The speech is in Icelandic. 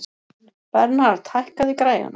Bernhard, hækkaðu í græjunum.